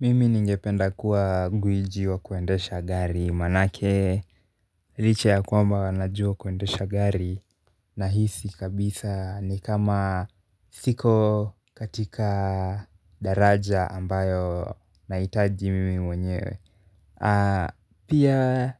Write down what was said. Mimi ningependa kuwa ngwiji wa kuendesha gari, manake licha ya kwamba najua kuendesha gari nahisi kabisa ni kama siko katika daraja ambayo nahitaji mimi mwenyewe. Pia